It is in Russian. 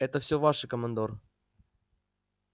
это все ваше командор